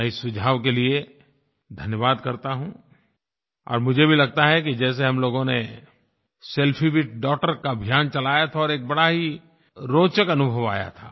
मैं इस सुझाव के लिए धन्यवाद करता हूँ और मुझे भी लगता है कि जैसे हम लोगों ने सेल्फी विथ डॉगटर का अभियान चलाया था और एक बड़ा ही रोचक अनुभव आया था